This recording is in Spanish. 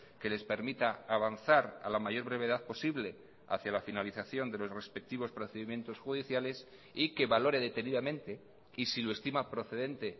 que les permita avanzar a la mayor brevedad posible hacia la finalización de los respectivos procedimientos judiciales y que valore detenidamente y si lo estima procedente